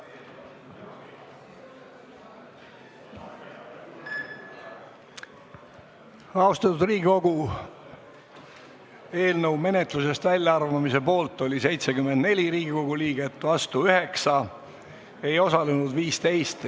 Hääletustulemused Austatud Riigikogu, eelnõu menetlusest välja arvamise poolt oli 74 Riigikogu liiget ja vastu 9 liiget, hääletamisel ei osalenud 15 liiget.